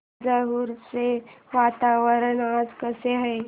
तंजावुर चे वातावरण आज कसे आहे